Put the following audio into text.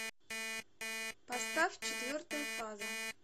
поставь четвертая фаза